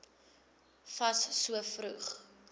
fas so vroeg